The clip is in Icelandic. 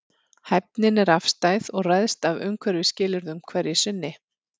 Hæfnin er afstæð og ræðst af umhverfisskilyrðum hverju sinni.